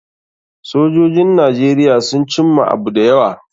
Sojojin Najeriya sun cimma abu da yawa.